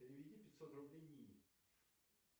переведи пятьсот рублей нине